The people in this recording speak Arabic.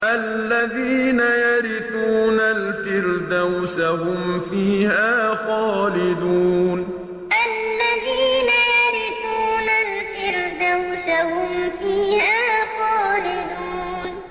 الَّذِينَ يَرِثُونَ الْفِرْدَوْسَ هُمْ فِيهَا خَالِدُونَ الَّذِينَ يَرِثُونَ الْفِرْدَوْسَ هُمْ فِيهَا خَالِدُونَ